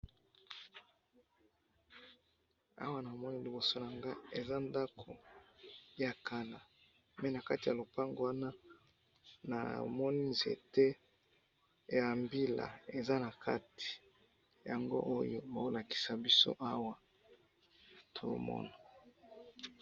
awa namoni liboso nanga eza ndaku ya kala pe nakati ya lopangu wana namoni nzete ya mbila eza na kati yangooyo bozo lakisa biso awa tozomona.